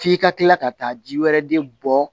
F'i ka kila ka taa ji wɛrɛ de bɔ